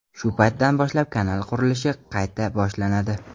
Shu paytdan boshlab kanal qurilishi qayta boshlanadi.